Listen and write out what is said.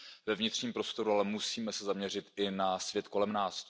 ve vnitřním prostoru, ale musíme se zaměřit i na svět kolem nás.